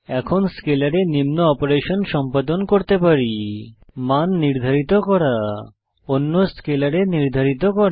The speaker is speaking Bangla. এখন স্কেলারে নিম্ন অপারেশন সম্পাদন করতে পারি মান নির্ধারিত করা অন্যতে স্কেলারে নির্ধারিত করা